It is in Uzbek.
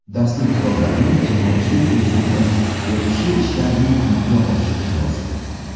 Darslik kitoblarini jamoatchilik tekshiruvi, o‘qishi ishlarini amalga oshirish lozim.